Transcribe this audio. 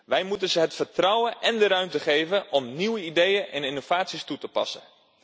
Wij moeten hun het vertrouwen en de ruimte geven om nieuwe ideeën en innovaties toe te passen.